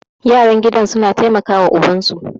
yaran gidan suna taimaka wa ubansu